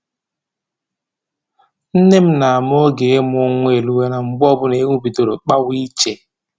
Nne m na-ama n'oge ịmụ nwa eruwala mgbe ọbụla ewu bidoro kpawa iche